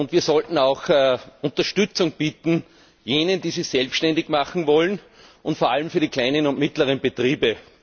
Wir sollten auch jenen Unterstützung bieten, die sich selbständig machen wollen, und vor allem den kleinen und mittleren Betrieben.